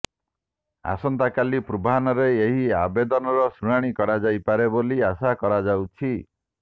ଆସନ୍ତାକାଲି ପୂର୍ବାହ୍ନରେ ଏହି ଆବେଦନର ଶୁଣାଣି କରାଯାଇପାରେ ବୋଲି ଆଶା କରାଯାଉଛି